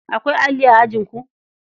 Akwai alli a ajinku?